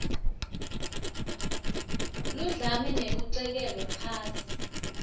ludlame nekucekelwa phansi